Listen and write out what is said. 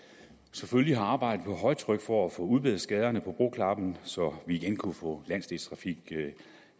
selvfølgelig har arbejdet på højtryk for at få udbedret skaderne på broklappen så vi igen kunne få landsdelstrafik